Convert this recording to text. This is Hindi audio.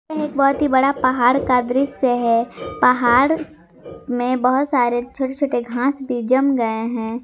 यह एक बहोत ही बड़ा पहाड़ का दृश्य है पहाड़ में बहुत सारे छोटे छोटे घास भी जम गए हैं।